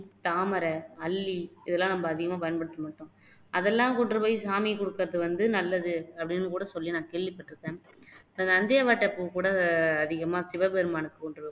தாமரை, அல்லி இதெல்லாம் நம்ம அதிகமா நம்ம பயன்படுத்தமாட்டோம் அதெல்லாம் கொண்டு போயி சாமிக்கு கொடுக்குறது வந்து நல்லது அப்படின்னு கூட சொல்லி நான் கேள்விப்பட்டுருக்கேன். நந்தியாவட்டை பூ கூட அதிகமா சிவபெருமானை